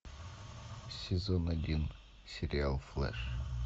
сезон один сериал флэш